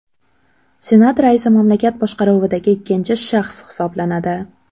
Senat raisi mamlakat boshqaruvidagi ikkinchi shaxs hisoblanadi.